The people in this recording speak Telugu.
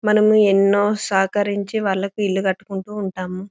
మనం ఎన్నో సహకరించి వాళ్లకు ఇల్లు కట్టుకుంటూ ఉంటాం.